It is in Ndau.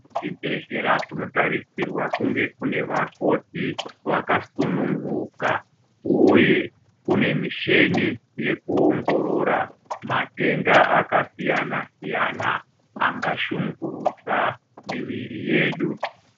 Kuzvibhedhlera kunotarisirwa kunge kune vakoti vakasununguka uye kune musheni yekuonhorora matenda akasiyana siyana angashungurudza muviri yedu.